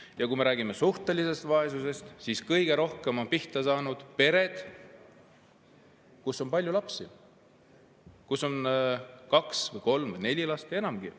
Ja kui me räägime suhtelisest vaesusest, siis kõige rohkem on pihta saanud pered, kus on palju lapsi, kus on kaks või kolm või neli last või enamgi.